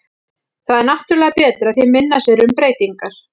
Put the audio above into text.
Það er náttúrulega betra því minna sem eru um breytingar.